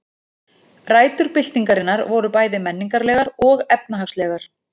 Rætur byltingarinnar voru bæði menningarlegar og efnahagslegar.